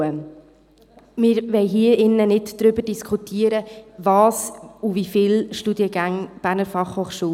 Wir wollen hier nicht darüber diskutieren, welche und wie viele Studiengänge die BFH anbieten soll.